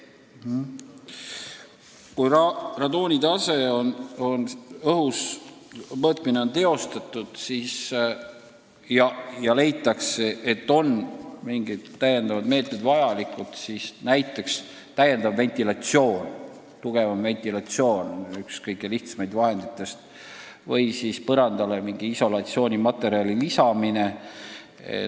Kui radoonitaseme õhus mõõtmine on teostatud ja leitakse, et on mingid meetmed vajalikud, siis on üks kõige lihtsam abinõu täiendav, tugevam ventilatsioon või siis põrandale mingi isolatsioonimaterjali lisamine.